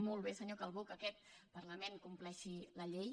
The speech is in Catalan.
molt bé senyor calbó que aquest parlament compleixi la llei